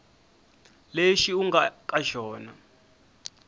lexi u nga ka xona